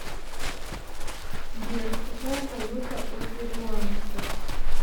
сбер какая валюта у перуанцев